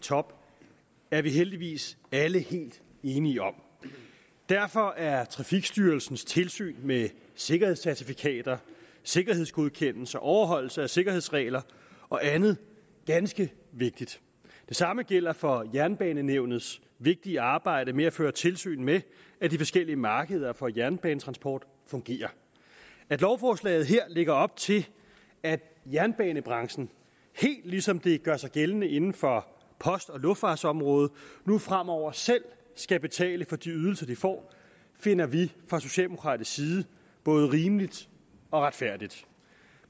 top er vi heldigvis alle helt enige om derfor er trafikstyrelsens tilsyn med sikkerhedscertifikater sikkerhedsgodkendelser overholdelse af sikkerhedsregler og andet ganske vigtigt det samme gælder for jernbanenævnets vigtige arbejde med at føre tilsyn med at de forskellige markeder for jernbanetransport fungerer at lovforslaget her lægger op til at jernbanebranchen helt ligesom det gør sig gældende inden for post og luftfartsområdet nu fremover selv skal betale for de ydelser de får finder vi fra socialdemokratisk side både rimeligt og retfærdigt